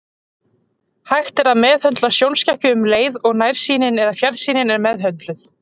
Hægt er að meðhöndla sjónskekkju um leið og nærsýnin eða fjarsýnin er meðhöndluð.